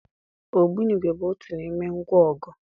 Ogbunigwe bụ otu n'ime ngwaọgụ.